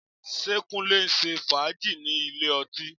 Ṣé Kúnlé ń ṣe fàájì ní ilé ọtí?